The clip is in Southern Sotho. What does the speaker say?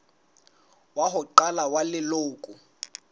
wa ho qala wa leloko